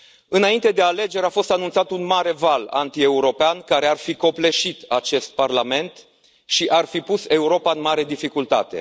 Înainte de alegeri, a fost anunțat un mare val antieuropean, care ar fi copleșit acest Parlament și ar fi pus Europa în mare dificultate.